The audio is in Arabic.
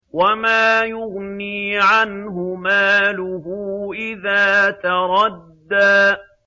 وَمَا يُغْنِي عَنْهُ مَالُهُ إِذَا تَرَدَّىٰ